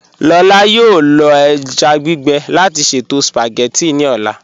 Lọlá yọọ lọ èjá gbígbe láti ṣẹto spagétì ní ọlá.